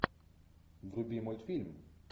вруби мультфильм